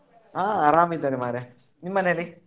ಹಾ ಆರಾಮ್ ಇದ್ದಾರೆ ಮಾರಯಾ, ನಿಮ್ಮ್ ಮನೇಲಿ?